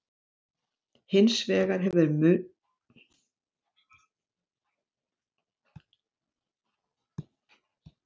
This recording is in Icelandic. Hins vegar hefur notkun munntóbaks aukist.